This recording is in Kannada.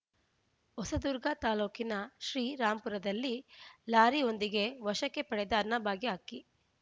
ಹೊಸದುರ್ಗ ತಾಲೂಕಿನ ಶ್ರೀರಾಂಪುರದಲ್ಲಿ ಲಾರಿಯೊಂದಿಗೆ ವಶಕ್ಕೆ ಪಡೆದ ಅನ್ನಭಾಗ್ಯ ಅಕ್ಕಿ